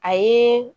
A ye